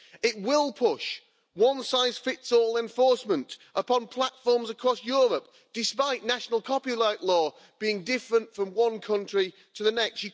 It will push one size fits all enforcement upon platforms across Europe, despite national copyright law being different from one country to the next.